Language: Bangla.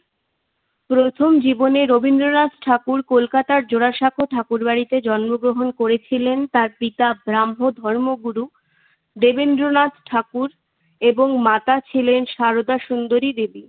প্রথম জীবনে রবীন্দ্রনাথ ঠাকুর কলকাতার জোড়াসাঁকো ঠাকুরবাড়িতে জন্মগ্রহণ করেছিলেন। তার পিতা ব্রাহ্ম ধর্মগুরু দেবেন্দ্রনাথ ঠাকুর এবং মাতা ছিলেন সারদা সুন্দরী দেবী।